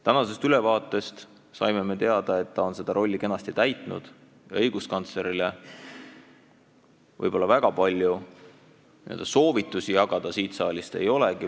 Tänasest ülevaatest saime teada, et ta on seda rolli kenasti täitnud ja õiguskantslerile palju soovitusi jagada ei olegi.